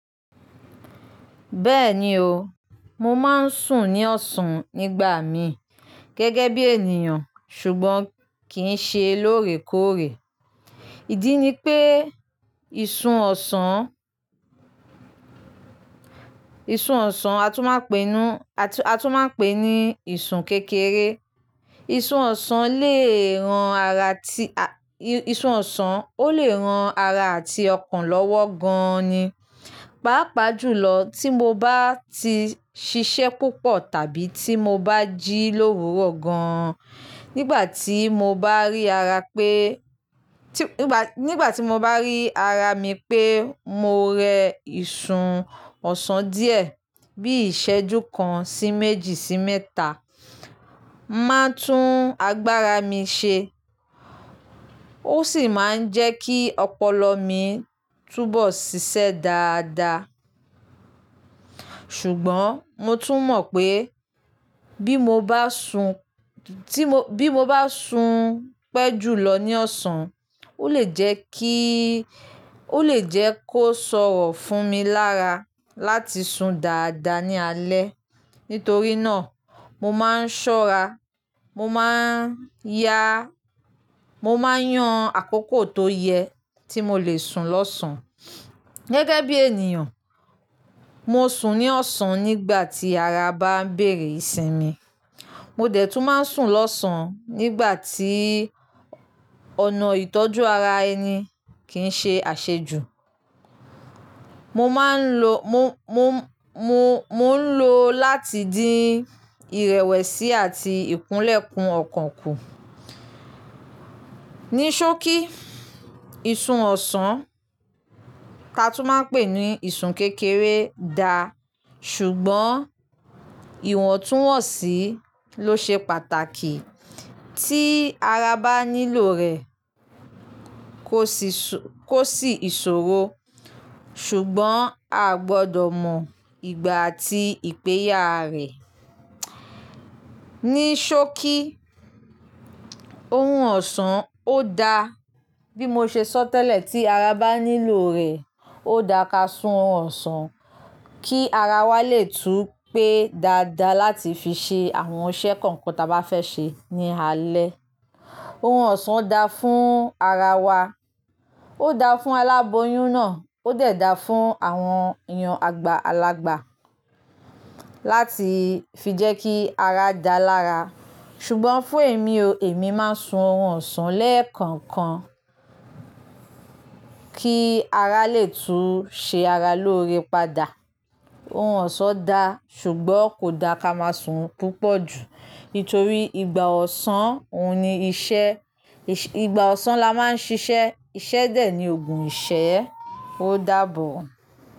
Bẹ́ẹ̀ni o, mo máa ń sùn ní ọ̀sán nígbà mi gẹ́gẹ́ bí ènìyàn ṣùgbọ́n kì í ṣe lóòrèkóòrè. Ìdí ni pé ìsun ọ̀sán, ìsun ọ̀sán a tún máa pè é ní, a tún máa pè ní ìsun kékeré. Ìsun ọ̀sán lè ran ara ti, ìsun ọ̀sán ó lè ran ara àti ọkàn lọ́wọ́ gan-an ni. Pápa jùlọ tí mo bá ti ṣiṣẹ́ púpọ̀ tàbí tí mo bá jí lówúró gan-an, nígbà tí mo bá rí ara pé, tí, nígbà tí mo bá rí ara mi pé mo rẹ ìsun ọ̀sán díẹ̀ bí i ṣẹ́jú kan sí méjì sí mẹ́ta, ń máa tún agbára mi ṣe ó sì máa ń jẹ́ kí ọpọlọ mi túbọ̀ ṣiṣẹ́ dáadáa. Ṣùgbọ́n mo tún mọ̀ pé bí mo bá sun, tí bí mo bá sun pẹ́ jùlọ ní ọ̀sán, ó lè jẹ́ kí, ó lè jẹ́ kó sọ̀rọ̀ fún mi lára láti sun dáadáa ní alẹ́. Nítorí náà mo máa ń ṣọ́ra, mo máa ń yá, mo máa ń yan àkókò tó yẹ tí mo lè sun lọ̀sán. Gẹ́gẹ́ bí ènìyàn, mo sùn ní ọ̀sán nígbà tí ara bá ń béèrè ìsinmi. Mo dẹ̀ tún máa ń sùn lọ̀sán nígbà tí ọ̀nà ìtọ́jú ara ẹni kì í ṣe àṣejù. Mo máa ń lo, mo, mo, mo, mo ń lo láti dín ìrẹ̀wẹ̀sì àti ìkúnlẹ̀kún ọkàn kù. Níṣókí, ìsun ọ̀sán ka tún máa ń pè ní ìsun kékeré da, ṣùgbọ́n ìwọ̀ntúnwọ̀nsì ló ṣe pàtàkì. Tí ara bá nílò rẹ̀, kò sì sọ-- kò sì ìṣòro ṣùgbọ́n a gbọdọ̀ mọ ìgbà àti ìpèyà rẹ̀. Níṣókí, orun ọ̀sán ó da. Bí mo ṣe sọ tẹ́lẹ̀ tí ara bá nílò rẹ̀, ó dára ka sun ọ̀sán kí ara wa lè tú pé dáadáa láti fi ṣe àwọn iṣẹ́ kankan táa bá fẹ́ ṣe ní alẹ́. Orun ọ̀sán da fún ara wa, ó da fún aláboyún náà, ó dẹ̀ da fún àwọn èèyàn àgbàlagbà láti fi jẹ́ kí ara dá lára. Ṣùgbọ́n fún èmi o, èmi máa ń sun orun ọ̀sán lẹ́ẹ̀kọ̀kan kí ara lè tún ṣe ara lóore padà. Orun ọ̀sán da ṣùgbọ́n kò da ká máa sùn púpọ̀ jù. Nítorí ìgbà ọ̀sán, òun ni iṣẹ́, ìgbà ọ̀sán la máa ń ṣiṣẹ́, iṣẹ́ dè ní òògùn ìṣẹ́, ó dàbọ̀.